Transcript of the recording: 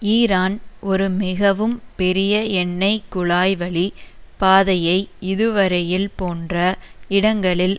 Iran ஒரு மிகவும் பெரிய எண்ணை குழாய் வழிப் பாதையை இதுவரையில் போன்ற இடங்களில்